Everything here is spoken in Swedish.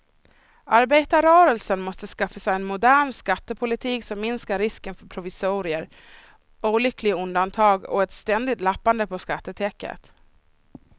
Arbetarrörelsen måste skaffa sig en modern skattepolitik som minskar risken för provisorier, olyckliga undantag och ett ständigt lappande på skattetäcket.